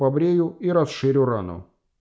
побрею и расширю рану